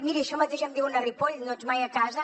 miri això mateix em diuen a ripoll no ets mai a casa